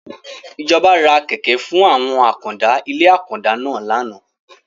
Ìjọba ra Kẹ̀kẹ́ fún àwọn àkàndá ilé àkàndá náà láánaà.